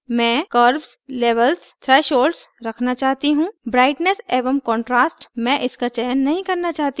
मैं curves levels threshold रखना चाहती हूँ brightness एवं contrast – मैं इनका चयन नहीं करना चाहती हूँ